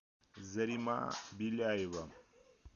зарима беляева